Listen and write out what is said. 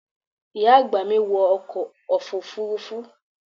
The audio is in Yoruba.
Ìyá àgbà mi wọ ọkọ̀ Òfurufú fún ìgbà àkọ́kọ́ ní ọdún tó kọjá.